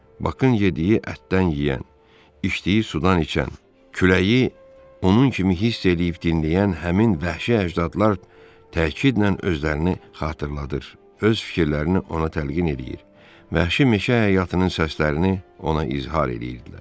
Bakın yediyi ətdən yeyən, içdiyi sudan içən, küləyi onun kimi hiss eləyib dinləyən həmin vəhşi əcdadlar təkidlə özlərini xatırladır, öz fikirlərini ona təlqin eləyir vəhşi meşə həyatının səslərini ona izhar eləyirdilər.